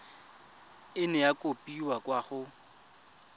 nna ya kopiwa kwa go